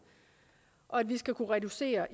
og at vi skal kunne reducere